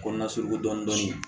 Kɔnɔna surun dɔɔnin